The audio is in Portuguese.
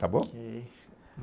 Tá bom? ok!